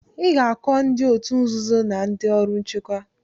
Ị ga-akọ ndị òtù nzuzo na ndị ọrụ nchekwa.